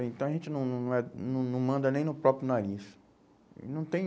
Então a gente não não não é não não manda nem no próprio nariz. Não tem